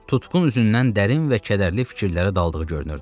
Tutqun üzündən dərin və kədərli fikirlərə daldığı görünürdü.